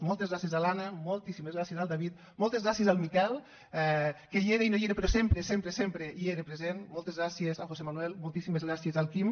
moltes gràcies a l’anna moltíssimes gràcies al david moltes gràcies al miquel que hi era i no hi era però sempre sempre sempre hi era present moltes gràcies al josé manuel moltíssimes gràcies al quim